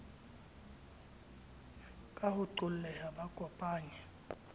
ka ho qolleha ba kopanye